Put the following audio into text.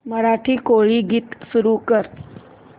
मराठी कोळी गीते सुरू कर